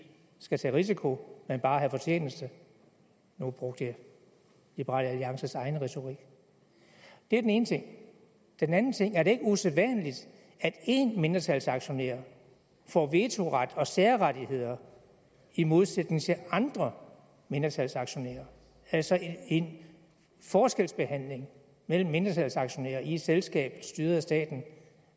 skal have en risiko men bare en fortjeneste nu brugte jeg liberal alliances egen retorik det er den ene ting den anden ting er er det ikke usædvanligt at én mindretalsaktionær får vetoret og særrettigheder i modsætning til andre mindretalsaktionærer altså en forskelsbehandling mellem mindretalsaktionærer i et selskab styret af staten